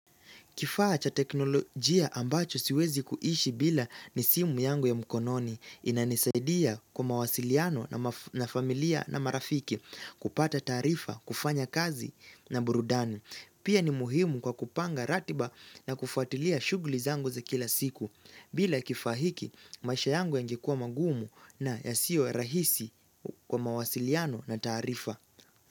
Kifaa cha teknolojia ambacho siwezi kuishi bila ni simu yangu ya mkononi. Inanisaidia kwa mawasiliano na familia na marafiki kupata taarifa, kufanya kazi na burudani. Pia ni muhimu kwa kupanga ratiba na kufuatilia shughuli zangu za kila siku. Bila kifaa hiki maisha yangu yangekua magumu na yasiyo rahisi kwa mawasiliano na tarifa.